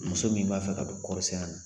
Muso min b'a fɛ ka don kɔɔrisɛnɛ na